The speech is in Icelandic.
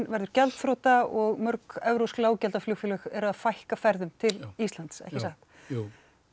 verður gjaldþrota og mörg evrópsk lággjaldaflugfélög eru að fækka ferðum til Íslands ekki satt jú